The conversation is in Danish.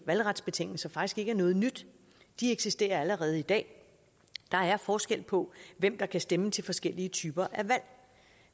valgretsbetingelser faktisk ikke er noget nyt de eksisterer allerede i dag der er forskel på hvem der kan stemme til forskellige typer af valg